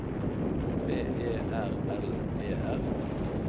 P E R L E R